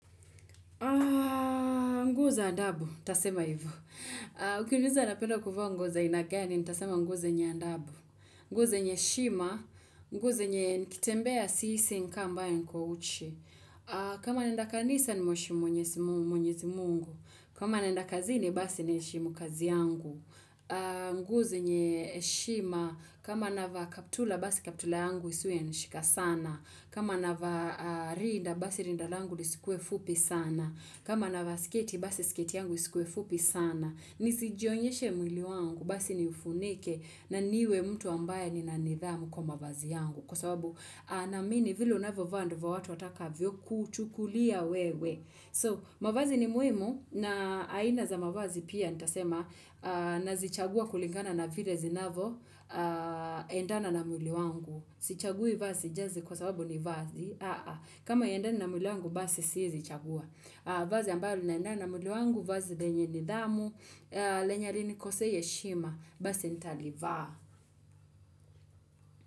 Nguza ndabu, tasema hivu. Ukimuza na pedo kufo nguza inagani, tasema nguze nye ndabu. Nguze nye shima, nguze nye kitembea siisi nkambaye nko uchi. Kama nindaka nisa ni mwishimu nye simu mwishimu nye mungu. Kama naendaka zini, basi nae shimu kazi yangu. Nguze nye shima, kama nava kaptula, basi kaptula yangu isuye nishika sana. Kama nava rinda, basi rinda langu lisikue fupi sana. Kama na vasiketi, basi sketi yangu isikwefupi sana. Nisijionyeshe mwili wangu, basi ni ufunike na niwe mtu ambaye ni nanithamu kwa mavazi yangu. Kwa sababu naamini vile unavyovaa ndio watu wataka vyo kuchukulia wewe. So, mwavazi ni muimu na aina za mavazi pia nitasema na zichagua kulingana na vile zinavo endana na mwili wangu. Sichagui vazi jazi kwa sababu ni vazi. Kama haiendani na mwili wangu, basi siezichagua. Vazi ambayo linaendana na mwili wangu, vazi lenye nidhamu lenye halinikosei heshima basi nitalivaa.